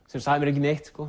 sem sagði mér ekki neitt